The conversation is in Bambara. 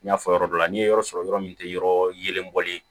N y'a fɔ yɔrɔ dɔ la n ye yɔrɔ sɔrɔ yɔrɔ min tɛ yɔrɔ yelen bɔlen